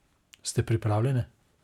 Ste pripravljene?